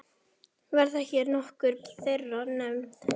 Verða hér nokkur þeirra nefnd.